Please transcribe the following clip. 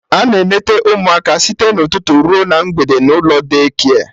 Ana eneta ụmụaka site na ụtụtụ ruo na mgbede n'ụlọ Daycare